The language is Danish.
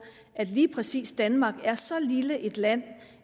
at lige præcis danmark er så lille et land